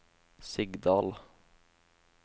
Sigdal